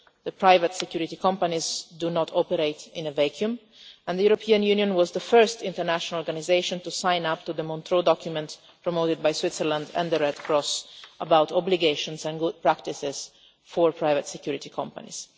The private security companies do not operate in a vacuum and the European Union was the first international organisation to sign up to the Montreux Document, promoted by Switzerland and the Red Cross, about obligations and good practices for private security companies.